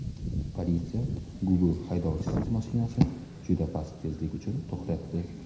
Politsiya Google haydovchisiz mashinasini juda past tezlik uchun to‘xtatdi.